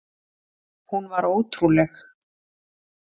Hún var ótrúleg.